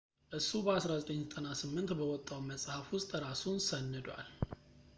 እሱ በ1998 በወጣው መፅሐፍ ውስጥ እራሱን ሰንዷል